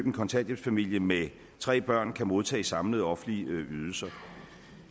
en kontanthjælpsfamilie med tre børn kan modtage i samlede offentlige ydelser